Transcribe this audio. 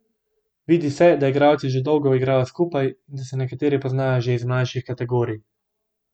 Vidi se, da igralci že dolgo igrajo skupaj, in da se nekateri poznajo že iz mlajših kategorij.